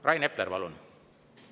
Rain Epler, palun!